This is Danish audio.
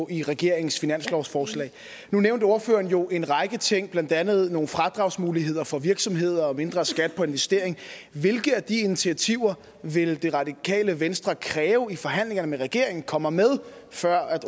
i regeringens finanslovsforslag nu nævnte ordføreren jo en række ting blandt andet nogle fradragsmuligheder for virksomheder og mindre skat på investering hvilke af de initiativer vil det radikale venstre kræve i forhandlingerne med regeringen kommer med før